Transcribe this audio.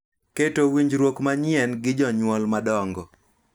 Keto winjruok manyien gi jonyuol madongo